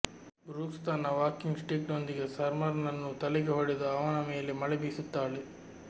Brooks ತನ್ನ walking ಸ್ಟಿಕ್ನೊಂದಿಗೆ ಸಮ್ನರ್ನನ್ನು ತಲೆಗೆ ಹೊಡೆದು ಅವನ ಮೇಲೆ ಮಳೆ ಬೀಸುತ್ತಾಳೆ